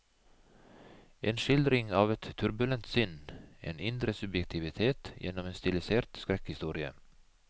En skildring av et turbulent sinn, en indre subjektivitet gjennom en stilisert skrekkhistorie.